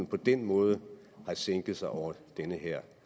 på den måde har sænket sig over denne